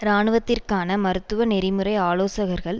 இராணுவத்திற்கான மருத்துவ நெறிமுறை ஆலோசகர்கள்